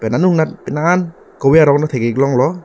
anung anat penang an kove arong ta thek ik longlo.